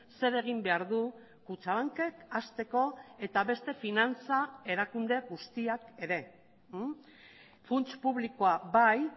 zer egin behar du kutxabankek hasteko eta beste finantza erakunde guztiak ere funts publikoa bai